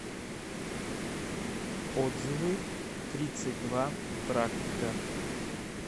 отзывы тридцать два практика